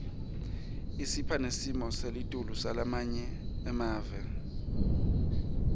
isipha nesimo selitulu semave lamanye